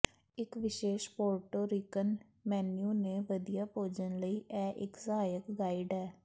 ਇੱਕ ਵਿਸ਼ੇਸ਼ Puerto Rican menu ਤੇ ਵਧੀਆ ਭੋਜਨ ਲਈ ਇਹ ਇੱਕ ਸਹਾਇਕ ਗਾਈਡ ਹੈ